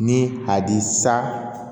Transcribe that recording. Ni a di sa